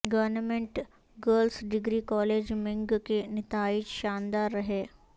government girls degree college منگ کے نتائج شاندار رہے